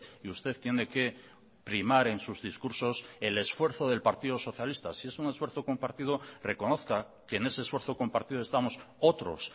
y usted tiene que primar en sus discursos el esfuerzo del partido socialista si es un esfuerzo compartido reconozca que en ese esfuerzo compartido estamos otros